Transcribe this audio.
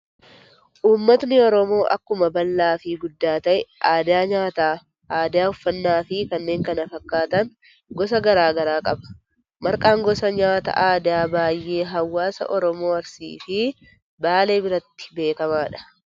Uummatni Oromoo akkuma bal'aa fi guddaa ta'e, aadaa nyaataa, aadaa uffannaa fi kanneen kana fakkaatan gosa garaagaraa qaba. Marqaan gosa nyaata aadaa baayyee hawaasa Oromoo Arsii fi Baalee biratti beekamaadha.